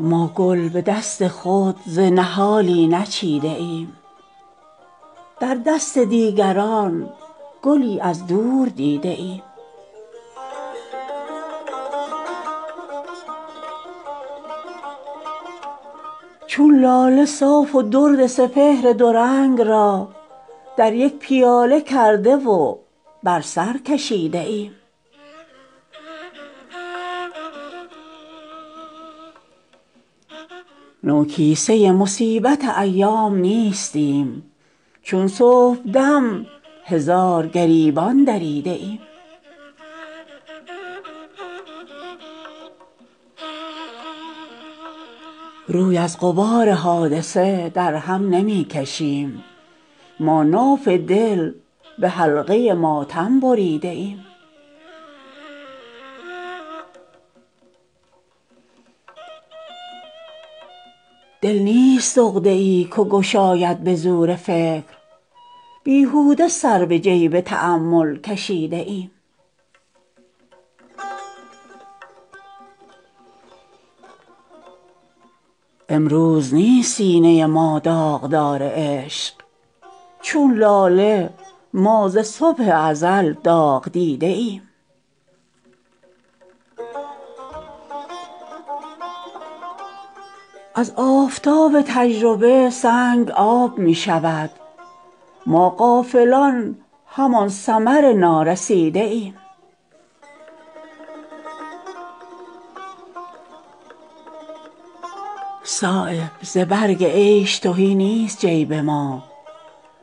ما گل به دست خود ز نهالی نچیده ایم در دست دیگران گلی از دور دیده ایم چون لاله صاف و درد سپهر دو رنگ را در یک پیاله کرده و بر سر کشیده ایم با بخت تیره از ستم چرخ فارغیم در دست زنگی آینه زنگ دیده ایم نوکیسه مصیبت ایام نیستیم چون صبحدم هزار گریبان دریده ایم روی از غبار حادثه در هم نمی کشیم ما ناف دل به حلقه ماتم بریده ایم دل نیست عقده ای که گشاید به زور فکر بیهوده سر به جیب تأمل کشیده ایم امروز نیست سینه ما داغدار عشق چون لاله ما ز صبح ازل داغ دیده ایم دور نشاط ما خم فتراک قاتل است ما ماه عید را به رخ زخم دیده ایم گل دام نکهت عبثی می کند به خاک ما بوی پیرهن به تکلف شنیده ایم جنگ گریز شیوه ما نیست چون شرار صدبار چون نسیم بر آتش دویده ایم از آفتاب تجربه سنگ آب می شود ما غافلان همان ثمر نارسیده ایم از جور روزگار نداریم شکوه ای این گرگ را به قیمت یوسف خریده ایم صایب ز برگ عیش تهی نیست جیب ما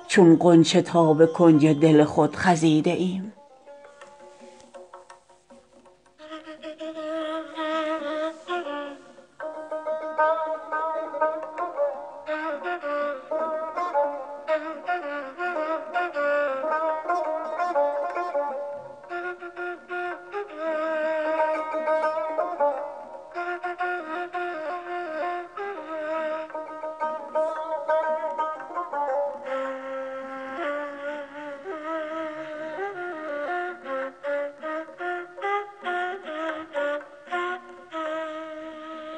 چون غنچه تا به کنج دل خود خزیده ایم